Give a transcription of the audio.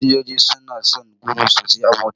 Fasinjoji suna son gudu sosai a mota.